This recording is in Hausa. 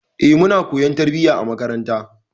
E, muna koyon tarbiyya a makaranta.